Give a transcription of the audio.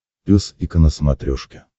пес и ко на смотрешке